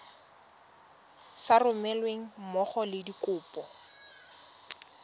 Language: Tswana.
sa romelweng mmogo le dikopo